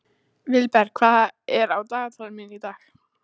Vilberg, hvað er á dagatalinu mínu í dag?